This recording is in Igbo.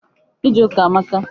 Ije ụka amaka.